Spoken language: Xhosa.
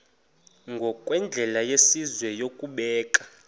ngokwendlela yesizwe yokubeka